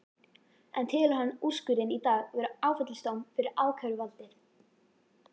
En telur hann úrskurðinn í dag vera áfellisdóm fyrir ákæruvaldið?